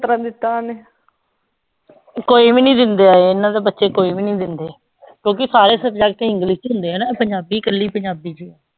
ਓਨੂੰ ਕੋਈ ਵੀ ਨੀ ਦਿੰਦੇ ਏਨਾ ਦੇ ਬਚੇ ਕੋਈ ਵੀ ਨੀ ਦਿੰਦੇ ਕਿਉਕਿ ਸਾਰੇ subject english ਚ ਹੁੰਦੇ ਆ ਨਾ ਪੰਜਾਬੀ ਕਲੀ ਪੰਜਾਬੀ ਚ ਆ